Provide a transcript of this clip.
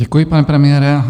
Děkuji, pane premiére.